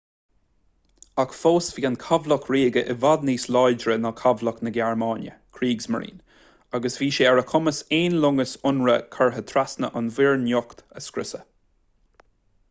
ach fós bhí an cabhlach ríoga i bhfad níos láidre ná cabhlach na gearmáine kriegsmarine” agus bhí sé ar a chumas aon loingeas ionraidh curtha trasna an mhuir niocht a scriosadh